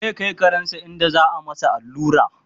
zai Kai karensa inda za'a masa allura